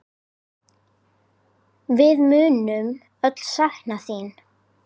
Við munum öll sakna þín.